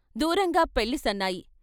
దూరంగా పెళ్ళి సన్నాయి.